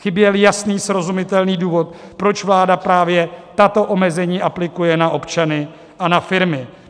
Chyběl jasný, srozumitelný důvod, proč vláda právě tato omezení aplikuje na občany a na firmy.